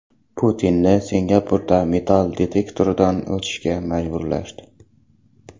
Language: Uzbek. Putinni Singapurda metall detektordan o‘tishga majburlashdi.